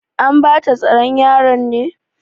An bata tsaron yaran ne?